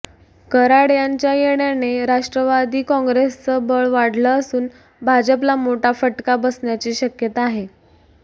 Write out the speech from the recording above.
कराड यांच्या येण्याने राष्ट्रवादी काँग्रेसचं बळ वाढलं असून भाजपला मोठा फटका बसण्याची शक्यता आहे